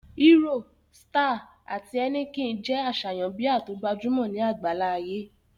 Hero, Star, àti Heineken jẹ́ àṣàyàn bíà tó gbajúmọ̀ ní àgbáńlá ayé